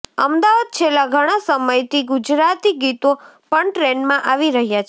અમદાવાદઃ છેલ્લા ઘણા સમયથી ગુજરાતી ગીતો પણ ટ્રેન્ડમાં આવી રહ્યા છે